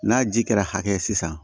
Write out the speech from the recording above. N'a ji kɛra hakɛ sisan